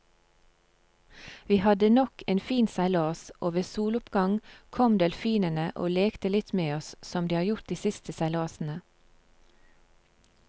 Vi hadde nok en fin seilas, og ved soloppgang kom delfinene og lekte litt med oss som de har gjort de siste seilasene.